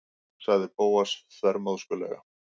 sagði Bóas þvermóðskulega.